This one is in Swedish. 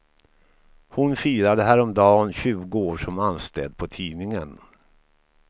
Hon firade häromdagen tjugo år som anställd på tidningen.